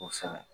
Kosɛbɛ